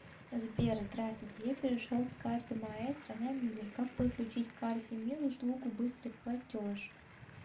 сбер здравствуйте я перешел с карты маестро на мир как подключить к карте мир услугу быстрый платеж